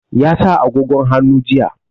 Ya sa agogon hannu jiya.